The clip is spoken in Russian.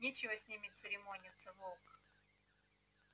нечего с ними церемониться волк